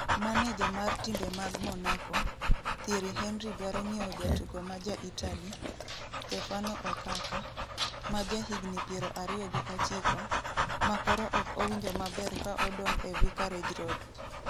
Maneja mar timbe mag Monaco, Thierry Henry dwaro nyiewo jatugo ma ja Italy, Stefano Okaka, ma jahigni 29, ma koro ok owinjo maber ka odong' e Vicarage Road.